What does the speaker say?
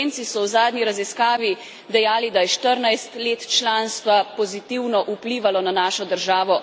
Slovenci so v zadnji raziskavi dejali, da je 14 let članstva pozitivno vplivalo na našo državo.